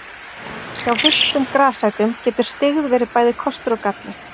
Hjá villtum grasætum getur styggð verið bæði kostur og galli.